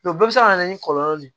bɛɛ bɛ se ka na ni kɔlɔlɔ de ye